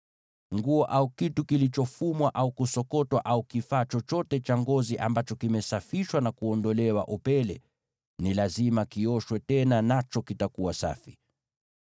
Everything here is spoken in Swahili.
Nguo, au kitu kilichofumwa au kusokotwa, au kifaa chochote cha ngozi ambacho kimesafishwa na kuondolewa upele, ni lazima kioshwe tena, nacho kitakuwa safi.”